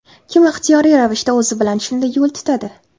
Kim ixtiyoriy ravishda o‘zi bilan shunday yo‘l tutadi?